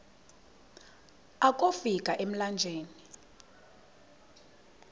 akofi ka emlanjeni